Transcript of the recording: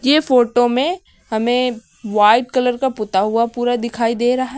ये फोटो में हमें व्हाइट कलर का पुता हुआ पूरी दिखाई दे रहा है।